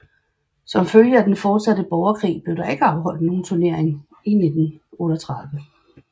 Som følge af den fortsatte borgerkrig blev der ikke afholdt nogen turnering i 1938